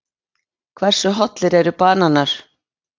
Hversu hollir eru bananar?